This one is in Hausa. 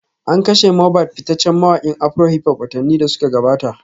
An kashe Mobad fitaccen mawakin afrohiphop watanni da suka gabata